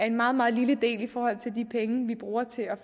en meget meget lille del i forhold til de penge vi bruger til at